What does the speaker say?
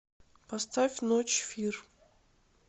поставь ночь фир